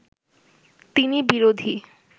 তিনি বিরোধী